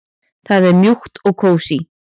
Það er mjúkt og kósí.